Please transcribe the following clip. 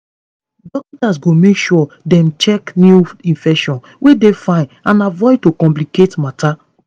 dokita's go make sure dem check new infections wey dey fine and avoid to complicate matter